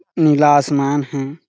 नीला आसमान है।